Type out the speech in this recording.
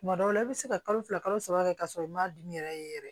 Tuma dɔw la i bɛ se ka kalo fila kalo saba kɛ k'a sɔrɔ i m'a dimi yɛrɛ yɛrɛ